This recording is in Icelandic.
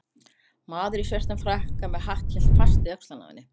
Maður í svörtum frakka með hatt hélt fast í öxlina á henni